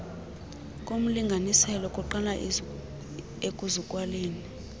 komlinganiselo kuqala ekuzalweni